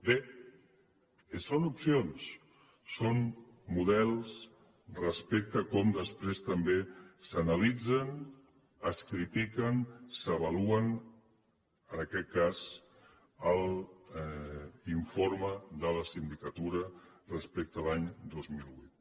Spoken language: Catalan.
bé són opcions són models respecte a com després també s’analitzen es critiquen s’avaluen en aquest cas a l’informe de la sindicatura respecte a l’any dos mil vuit